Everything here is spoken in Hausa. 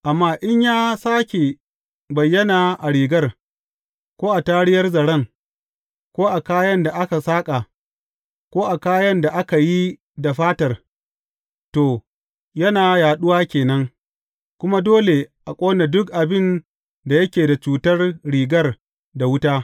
Amma in ya sāke bayyana a rigar, ko a tariyar zaren, ko a kayan da aka saƙa, ko a kayan da aka yi da fatar, to, yana yaɗuwa ke nan, kuma dole a ƙone duk abin da yake da cutar rigar da wuta.